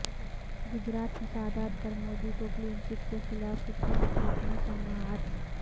گجرات فسادات پر مودی کو کلین چٹ کے خلاف سپریم کورٹ میں سماعت